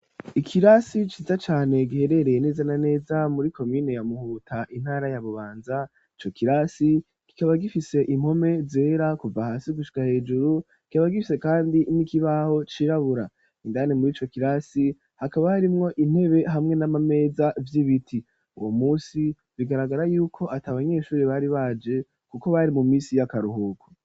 Ikirasi ciza cane ,giherereye neza na neza muri komine ya muhuta, intara ya bubanza, cokirasi kikaba gifise impome zera ,kuva hasi gushika hejuru, kikaba gifise kandi nikibaho cirabura ,indani muri cokirasi hakaba harimwo intebe hamwe n'amameza vy'ibiti ,uwo munsi bigaragara yuko at'abanyeshuri bari baje kuko bari mu misi y'akaruhuko.